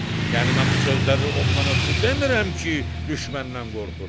Yəni mən bu sözləri ondan ötrü demirəm ki, düşməndən qorxuram.